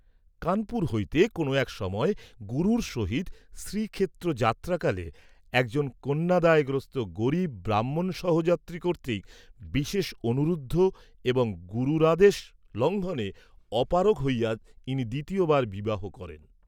কানপুর হইতে কোনও এক সময়ে গুরুর সহিত শ্রীক্ষেত্র যাত্রাকালে একজন কন্যাদায়গ্রস্ত গরীব ব্রাহ্মণ সহযাত্রী কর্তৃক বিশেষ অনুরুদ্ধ এবং গুরুরাদেশ লঙ্ঘনে অপারগ হইয়া ইনি দ্বিতীয়বার বিবাহ করেন।